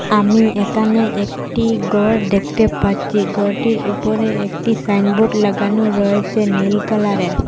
আমি একানে একটি গর দেখতে পাচ্ছি গরটির উপরে একটি সাইনবোর্ড লাগানো রয়েছে নীল কালারের।